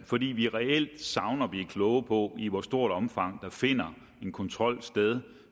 fordi vi reelt savner at blive kloge på i hvor stort omfang der finder en kontrol sted